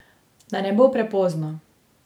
Da ne bo prepozno.